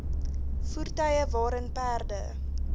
voertuie waarin perde